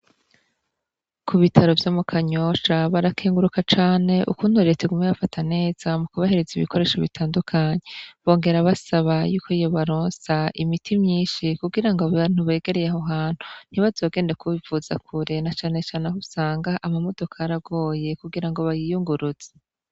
Ku bitaro vyo mu kanyosha barakenguruka cane ukunture tigume bafata neza mu kubahereza ibikoresho bitandukanyi bongera basaba yuko iyo baronsa imiti myinshi kugira ngo bantubegereyeho hantu ntibazogende kubivuza kurena canecane aho usanga amamodoko aragoye kugira ngo bayiyunguruza.